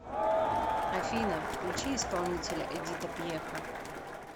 афина включи исполнителя эдита пьеха